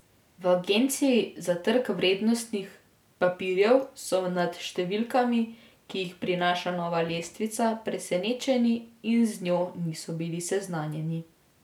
V Agenciji za trg vrednostnih papirjev so nad številkami, ki jih prinaša nova lestvica presenečeni in z njo niso bili seznanjeni.